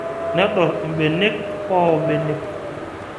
Nedor ilukuny oo mbenek